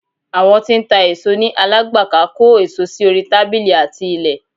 Àwọn tí ń ta èso ní. Alágbàká kó èso sí orí tábílì àti ilẹ̀